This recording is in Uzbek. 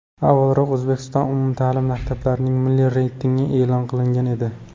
Avvalroq O‘zbekistonda umumta’lim maktablarning milliy reytingi e’lon qilingan edi .